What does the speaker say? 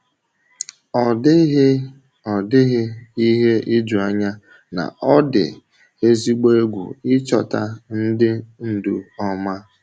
Ọ dịghị Ọ dịghị ihe ijuanya na ọ dị ezigbo egwu ịchọta ndị ndu ọma.